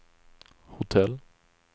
hotell